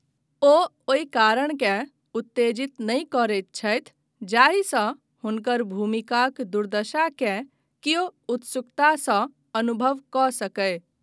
ओ ओहि करुणाकेँ उत्तेजित नहि करैत छथि जाहिसँ हुनकर भूमिकाक दुर्दशाकेँ कियो उत्सुकतासँ अनुभव कऽ सकय।